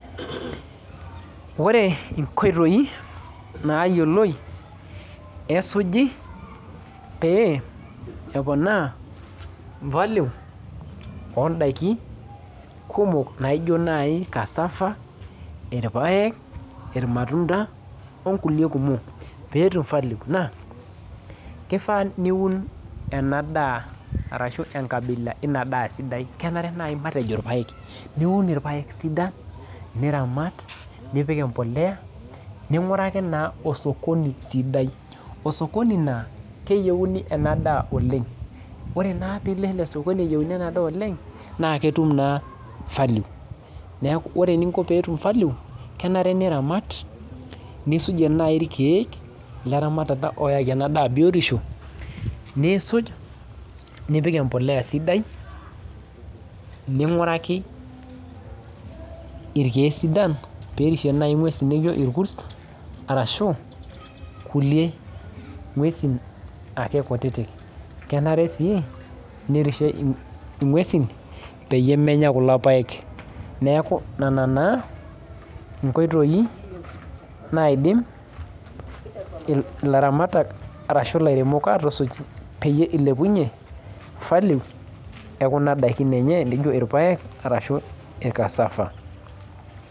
Ore inkoitoi nayiolou esuji pee eponaa value odaiki kumok naijo nai cassava, irpaek, irmatunda, onkulie kumok peetum value naa, kifaa niun enadaa arashu enkabila inadaa sidai, kenare nai matejo irpaek. Niun irpaek sidan, niramat, nipik empolea, ning'uraki naa osokoni sidai. Osokoni naa, keyiuni enadaa oleng. Ore naa pilo ele sokoni eyieuni enadaa oleng, naa ketum naa value. Neku ore eninko petum value, kenare niramat, nisujie nai irkeek leramatata oyaki enadaa biotisho, niisuj nipik empolea sidai, ning'uraki irkeek sidan, perishie nai ng'uesi nijo irkus, arashu kulie ng'uesin ake kutitik. Kenare si nirishie ing'uesin, peyie menya kulo paek. Neeku nana naa inkoitoii naidim ilaramatak arashu ilairemok atusuj, peyie ilepunye value ekuna daikin enye nijo irpaek, arashu ir cassava.